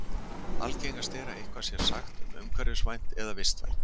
algengast er að eitthvað sé sagt umhverfisvænt eða vistvænt